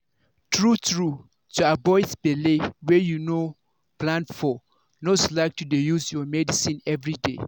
true-true to avoid belle wey you no plan for no slack to dey use your medicine everyday.